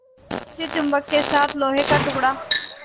जैसे चुम्बक के साथ लोहे का टुकड़ा